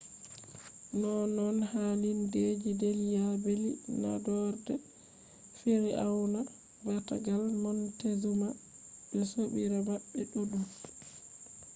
nonnon hallindeji delhi belly naadore fir'auna baatagal montezuma be sobirabe mabbe duddum